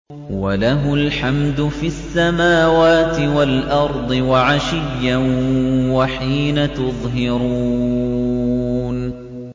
وَلَهُ الْحَمْدُ فِي السَّمَاوَاتِ وَالْأَرْضِ وَعَشِيًّا وَحِينَ تُظْهِرُونَ